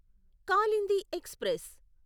Kalindi express